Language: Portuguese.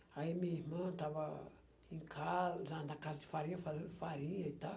Aí minha irmã estava em casa, na na casa de farinha, fazendo farinha e tal.